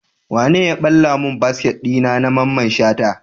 Wane ya balla mun kaset dina na mamman shata?